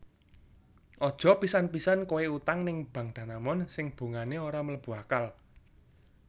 Aja pisan pisan koe utang ning Bank Danamon sing bungane ora mlebu akal